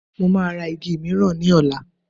Mo máa ra igi miran ní ọ̀la